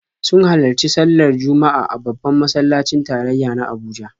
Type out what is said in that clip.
Sun halarci sallar Juma'a a babban masallacin tarayya na Abuja.